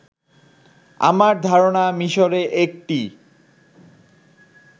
আমার ধারনা মিশরে একটি